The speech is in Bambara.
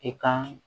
I ka